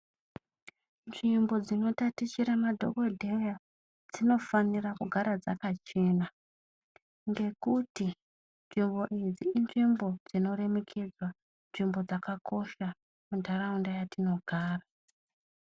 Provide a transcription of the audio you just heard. Nzvimbo dzinotatichira madhogodheya, dzinofanira kugara dzakachena. Ngekuti nzvimbo idzi inzvimbo dzinoremekedzwa, nzvimbo dzakakosha munharaunda yatinogara.